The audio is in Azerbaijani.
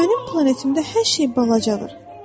Mənim planetimdə hər şey balacadır.